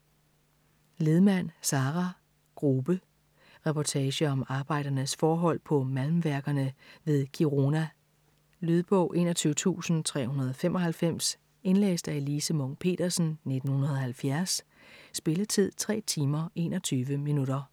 Lidman, Sara: Grube Reportage om arbejdernes forhold på malmværkerne ved Kiruna. Lydbog 21395 Indlæst af Elise Munch-Petersen, 1970. Spilletid: 3 timer, 21 minutter.